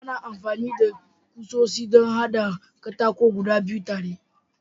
Ana amfani da kusoshi don haɗa katako guda biyu tare.